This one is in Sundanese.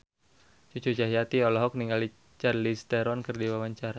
Cucu Cahyati olohok ningali Charlize Theron keur diwawancara